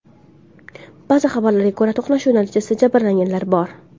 Ba’zi xabarlarga ko‘ra, to‘qnashuv natijasida jabrlanganlar bor.